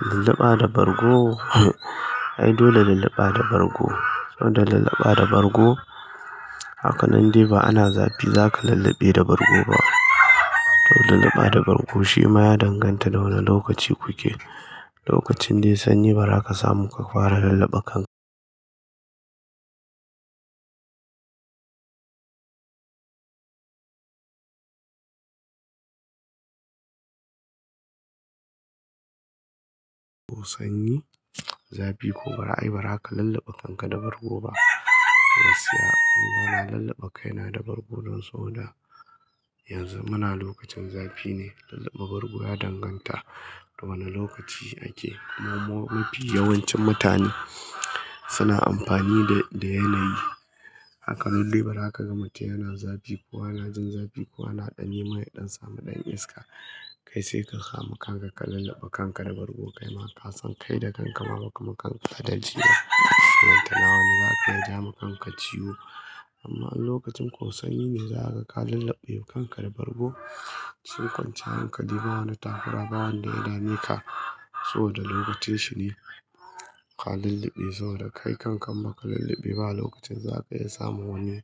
Lallaba da bargo? Ai dole lallaba da bargo. Saboda lallaba da bargo, hakanan dai ba ana zafi zaka lullube da bargo ba. To lallaba da bargo shi ma ya danganta da wane lokaci kuke. Lokacin dai sanyi bara ka samu ka fara lulluɓe kanka. Ko sanyi, zafi ko baza ayi ba za ka lulluɓe kanka da bargo ba. Gaskiya, ni ba na lulluɓe kai na da bargo don saboda yanzu muna lokacin zafi ne, lulluɓe bargo ya danganta da wane lokaci ake. Amma mafi yawancin mutane suna amfani da, da yanayi. Haka nan dai bara aka gama tiyana zafi, ko ana jin zafi, ko ana ɗan yi mai ya ɗan samu ɗan iska. Kai sai ka samu kanka ka lulluɓe kanka da bargo, kai ma ka san kai da kanka ma ba kama kanka adalci ba. Ballantana wani zaka iya jawo ma kanka ciwo. Amma in lokacin ko sanyi ne za ka ga ka lulluɓe kanka da bargo, shikin kwanciyar hankali ba wani takura ba wanda ya dame ka. Saboda lokacin shi ne ka lulluɓe saboda kai kanka in ba ka lulluɓe ba a lokacin zaka iya samu wani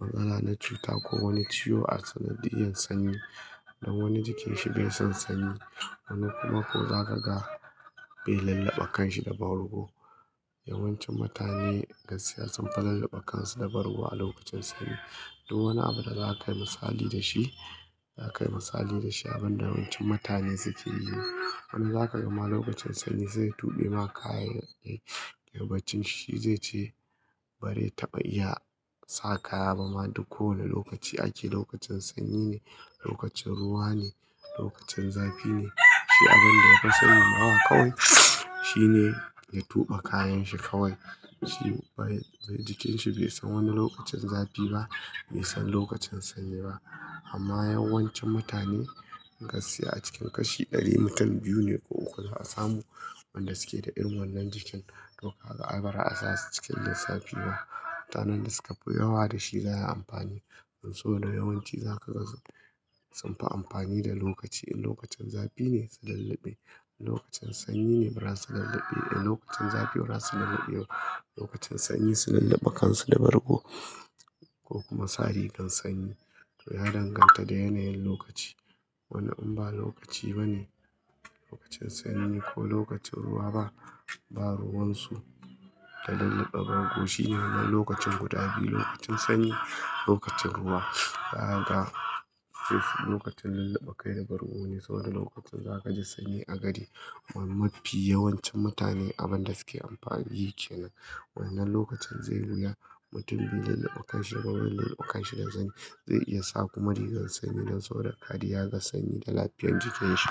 matsala na cuta ko wani ciwo a sanadiyan sanyi. Don wani jikin shi bai san sanyi, wani kuma ko za ka ga bai lulluɓe kanshi da bargo. Yawancin mutane gaskiya sun fi lulluɓe kansu da bargo a lokacin sanyi. Duk wani abu da za ka yi misali da shi, za ka yi misali da shi abin da yawancin mutane suke yi. Wani za ka ga ma lokacin sanyi sai ya tuɓe ma kayan ya yi barcin shi zai ce bazai taɓa iya sa kaya ba ma duk kowane lokaci ake lokacin sanyi ne, lokacin ruwa ne, lokacin zafi ne. Shi abin da ya fi sani ma kawai, shine ya tuɓe kayan shi kawai. Shi jikin shi bai san wani lokacin zafi ba, bai san lokacin sanyi ba. Amma yawancin mutane gaskiya a cikin kashi ɗari mutum biyu ne ko uku za a samu wanda suke da irin wannan jikin. Toh kaga ai baza a sasu cikin lissafi ba. Mutanen da suka fi yawa da shi za a yi amfani. Saboda yawanci za ka ga sunfi amfani da lokaci, in lokacin zafi ne su lulluɓe, in lokacin sanyi ne ba za su lulluɓe. In lokacin zafi ba za su lulluɓe ba, lokacin sanyi su lulluɓe kansu da bargo ko kuma sa rigar sanyi. Toh ya danganta da yanayin lokaci. Wani in ba lokaci ba ne, lokacin sanyi ko lokacin ruwa ba, ba ruwan su da lulluɓe bargo shine na lokacin guda biyu, lokacin sanyi, lokacin ruwa. Za ka ga lokacin lulluɓe kai da bargo ne saboda lokutan za ka ji sanyi a gadi. Amma mafi yawancin mutane abin da suke amfani yake nan. Wannan lokacin zai yi wuya mutum bai lulluɓe kanshi da bargo, lulluɓe kanshi da zani. Zai iya sa kuma rigar sanyi don saboda kariya ga sanyi da lafiyar jikin shi.